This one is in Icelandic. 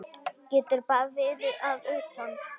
Getur bara verið að utan.